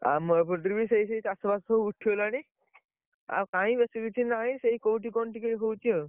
ଆମ ଏପଟରେ ବି ସେଇ ସେଇ ଚାଷ ବାସ ସବୁ ଉଠିଗଲାଣି, ଆଉ କାଇଁ ବେଶୀ କିଛି ନାହି ସେଇ କୋଉଠି କଣ ଟିକେ ହଉଛି ଆଉ